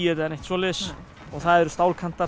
eða neitt svoleiðis og það eru